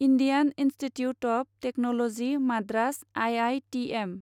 Indian Institute of Technology Madras I I T M